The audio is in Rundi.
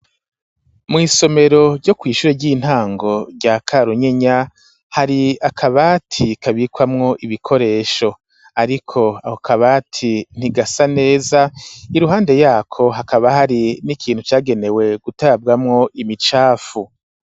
Mw'somero ryo kw'ishure ry'intango rya Karunyenya hari akabati kabikwamow ibikoresho ariko ako kabati ntigasa neza iruhande yako hakaba hari n'ikintu cagenewe gutabwamwo imicafu.